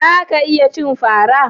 Za ka iya cin fara